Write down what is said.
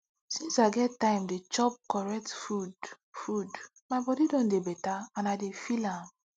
since i get time to dey chop correct food food my body don dey better and i dey feel am